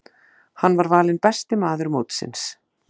Hann var valinn besti maður mótsins.